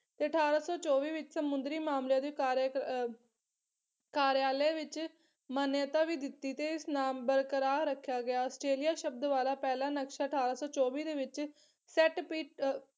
ਤੇ ਅਠਾਰਾਂ ਸੌ ਚੋਵੀ ਵਿੱਚ ਸਮੁੰਦਰੀ ਅਰ ਕਾਰਯਾਲਏ ਵਿਚ ਮਨਿਯਤਾ ਵੀ ਤੇ ਇਸ ਨਾਮ ਬਰਕਰਾਰ ਰੱਖਿਆ ਗਿਆ। ਆਸਟ੍ਰੇਲੀਆ ਸ਼ਬਦ ਵਾਲਾ ਪਹਿਲਾ ਨਕਸ਼ਾ ਅਠਾਰਾਂ ਸੌ ਚੌਵੀ ਦੇ ਵਿੱਚ ਸੈੱਟ ਪੀਟ ਅਹ